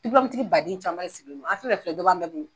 tigi baden caman de siginen do a fɛn fɛn filɛ dɔ b'an bɛɛ bolo.